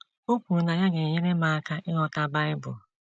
O kwuru na ya ga - enyere m aka ịghọta Bible.